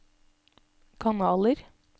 kanaler